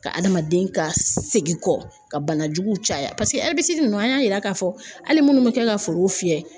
Ka adamaden ka segin kɔ ka bana jugu caya paseke nunnu an y'a yira k'a fɔ hali minnu bɛ kɛ ka foro fiyɛ